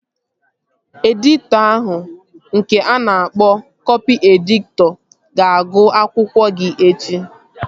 Editọ ahụ nke a na-akpọ kọpị editọ ga-agụ akwụkwọ gị echi